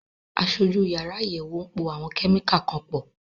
Aṣojú yàrá àyẹ̀wò ń po àwọn kẹ́míkà kan pọ̀.